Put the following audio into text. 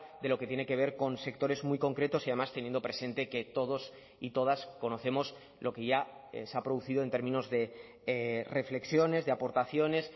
de lo que tiene que ver con sectores muy concretos y además teniendo presente que todos y todas conocemos lo que ya se ha producido en términos de reflexiones de aportaciones